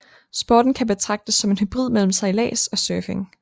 Sporten kan betragtes som en hybrid mellem sejlads og surfing